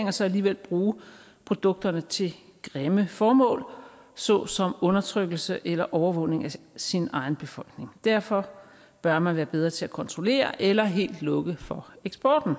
og så alligevel bruge produkterne til grimme formål såsom undertrykkelse eller overvågning af sin egen befolkning derfor bør man være bedre til at kontrollere eller helt lukke for eksporten